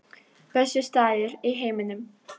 Besti staður í heiminum